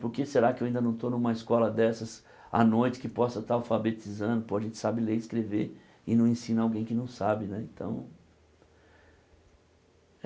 Por que será que eu ainda não estou numa escola dessas à noite, que possa estar alfabetizando, pô a gente sabe ler e escrever, e não ensina alguém que não sabe né então.